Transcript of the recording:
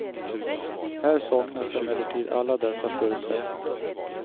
Här saknas emellertid alla dessa förutsättningar.